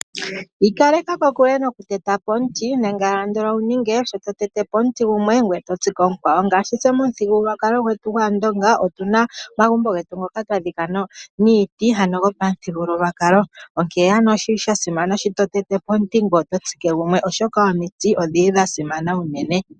Iikaleka kokule nokutete po omuiti nenge ano wuninge sho totete po omuti gumwe ngoye oto tsike omukwawo, ngaashi tse momuthigululwakalo gwetu gwaandonga otuna omagumbo getu ngoka twadhika niiti ano go pamuthigululwakalo, onkene ano oshi li sha simana sho totete po omuti ngoye oto tsike gumwe, oshoka omiti odhi li dhasimana unene.